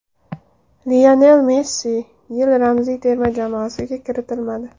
Lionel Messi yil ramziy terma jamoasiga kiritilmadi.